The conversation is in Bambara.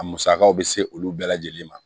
A musakaw bɛ se olu bɛɛ lajɛlen ma